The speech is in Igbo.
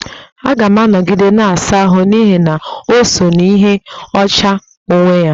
Aga m anọgide na-asa ahụ n'ihi na o so n'ịdị ọcha onwe onye